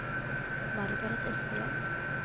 Margaret Espeland